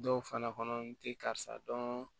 Dɔw fana kɔnɔ n te karisa dɔn